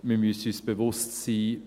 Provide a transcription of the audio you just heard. Wir müssen uns bewusst sein: